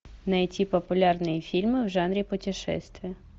найти популярные фильмы в жанре путешествия